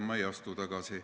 Ma ei astu tagasi.